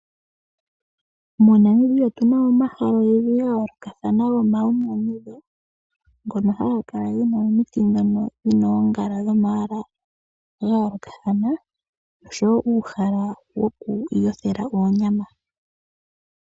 MoNamibia otu na mo omahala ogendji ga yoolokathana gomainyanyudho ngono haga kala gena omiti ndhono dhina oongala dhomayala ga yoolokathana oshowo uuhala woku yothela oonyama.